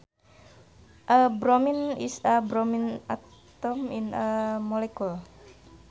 A bromine is a bromine atom in a molecule